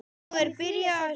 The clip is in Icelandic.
Nú er byrjað að snjóa.